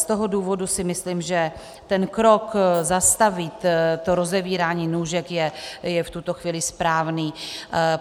Z toho důvodu si myslím, že ten krok, zastavit to rozevírání nůžek, je v tuto chvíli správný.